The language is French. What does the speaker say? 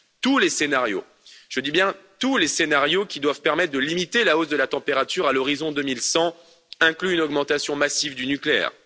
Tous les scénarios, je dis bien tous les scénarios, qui doivent permettre de limiter la hausse de la température à l'horizon 2100 incluent une augmentation massive du nucléaire.